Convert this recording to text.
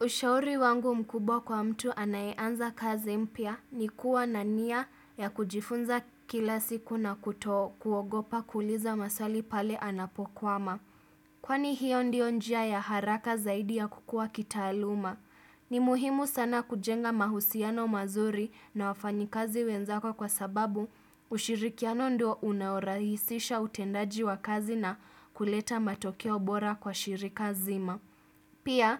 Ushauri wangu mkubwa kwa mtu anayeanza kazi mpya, ni kuwa na nia ya kujifunza kila siku na kutokuogopa kuuliza maswali pale anapokwama. Kwani hiyo ndio njia ya haraka zaidi ya kukua kitaaluma. Ni muhimu sana kujenga mahusiano mazuri na wafanyikazi wenzako kwa sababu ushirikiano ndio unaorahisisha utendaji wa kazi na kuleta matokeo bora kwa shirika nzima. Pia,